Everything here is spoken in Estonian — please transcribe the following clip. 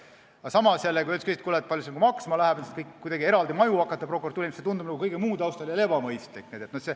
Aga samas, kui öeldakse, kui palju see maksma läheb, et hakata prokuratuurile eraldi maju ehitama, siis see tundub kõige muu taustal jälle ebamõistlik.